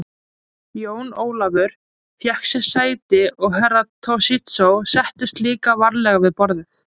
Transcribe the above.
Jón Ólafur fékk sér sæti og Herra Toshizo settist líka varlega við borðið.